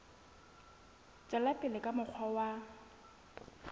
tswela pele ka mokgwa wa